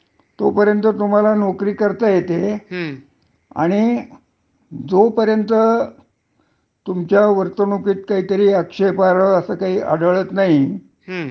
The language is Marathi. - किवा कुठला गुन्हा असा वगेरे तुमच्या हाथन होत नाही.हं. तोपर्यंत तुम्हाला चौकशी शिवाय कोनी काढू शकत नाही नोकरीतुन. हो. बरोबर आहे.